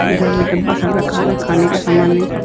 इधर भी डब्बा सब रखा हुआ हैं। खाने का समान --